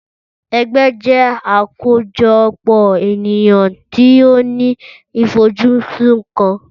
Ẹgbẹ́ jẹ́ àkójọpọ̀ ènìyàn tó ní ifojusun kan.